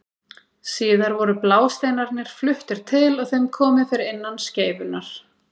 síðar voru blásteinarnir fluttir til og þeim komið fyrir innan skeifunnar